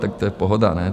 Tak to je pohoda, ne?